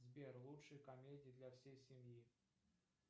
сбер лучшие комедии для всей семьи